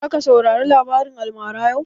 Za ka saurari labarin almaran yau?